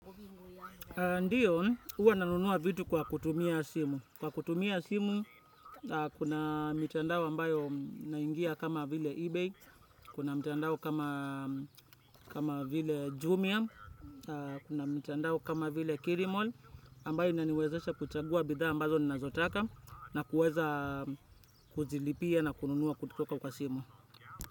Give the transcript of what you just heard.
Ndiyo, huwa nanunua vitu kwa kutumia simu. Kwa kutumia simu, kuna mitandao ambayo naingia kama vile eBay, kuna mtandao kama vile Jumia, kuna mtandao kama vile Kilimall, ambayo inaniwezesha kuchagua bidhaa ambazo ninazotaka na kuweza kuzilipia na kununua kutoka kwa simu.